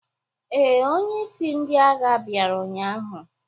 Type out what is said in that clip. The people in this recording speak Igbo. Ee, onye isi ndị agha bịara ụnyahụ.